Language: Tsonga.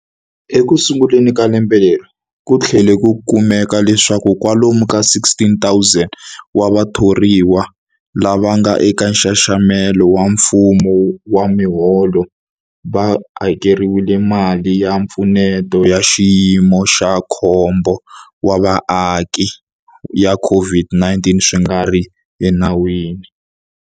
Ekusunguleni ka lembe leri, ku tlhele ku kumeka leswaku kwalomu ka 16,000 wa vathoriwa lava nga eka nxaxamelo wa mfumo wa miholo va hakeriwile mali ya Mpfuneto wa Xiyimo xa Khombo wa Vaaki ya COVID-19 swi nga ri enawini.